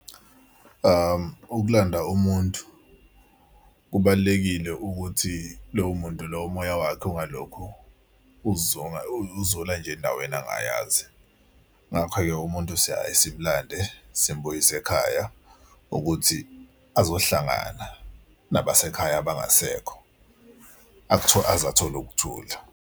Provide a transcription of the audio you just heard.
Ukulanda umuntu kubalulekile ukuthi lowo muntu loyo umoya wakhe ungalokho uzula nje endaweni angayazi. Ngakho-ke umuntu siyaye simlande simbuyise ekhaya ukuthi azohlangana nabasekhaya abangasekho, aze athole ukuthula.